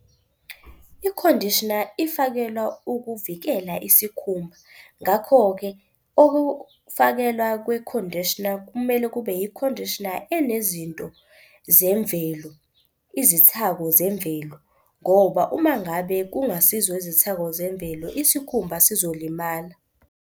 I-conditioner ifakelwa ukuvikela isikhumba. Ngakho-ke ukufakelwa kwe-conditioner kumele kube i-conditioner enezinto zemvelo, izithako zemvelo ngoba uma ngabe kungasizo izithako zemvelo isikhumba sizolimala.